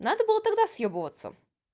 надо было тогда съёбываться